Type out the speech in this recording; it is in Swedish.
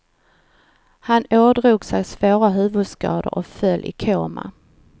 Han ådrog sig svåra huvudskador och föll i koma.